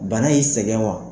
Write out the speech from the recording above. Bana y'i sɛgɛn wa?